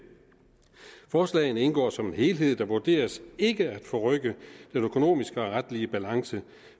forslagene indgår som en helhed der vurderes ikke at forrykke den økonomiske og retlige balance